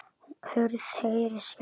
Hurð heyrist skellt.